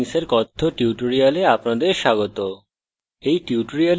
জাভাতে strings কথ্য tutorial আপনাদের স্বাগত